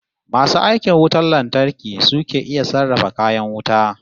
Masu aikin wutar lantarki su ke iya sarrafa kayan wuta